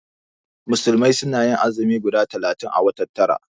Musulmai suna yin azumi guda talatin a watan tara